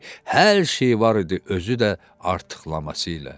hər şey var idi özü də artıqlaması ilə.